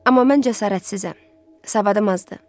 Amma mən cəsarətsizəm, savadım azdır.